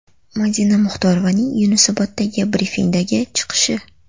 Madina Muxtorovaning Yunusoboddagi brifingdagi chiqishi.